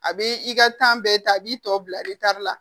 A bɛ i ka bɛɛ ta a b'i tɔ bila la